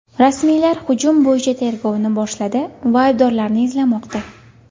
Rasmiylar hujum bo‘yicha tergovni boshladi va aybdorlarni izlamoqda.